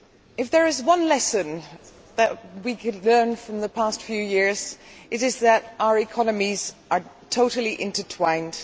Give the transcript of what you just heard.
if there is one lesson that we could learn from the past few years it is that our economies are totally intertwined.